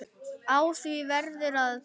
Á því verður að taka.